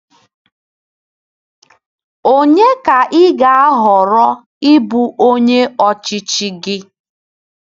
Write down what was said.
Onye ka ị ga-ahọrọ ịbụ onye ọchịchị gị?